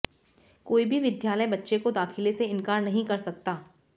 कोई भी विद्यालय बच्चे को दाखिले से इनकार नहीं कर सकता